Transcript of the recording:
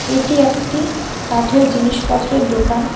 এটি একটি কাঠের জিনিসপত্রের দোকান।